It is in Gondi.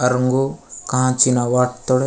अरंगो कांच चीना वाट तोडे।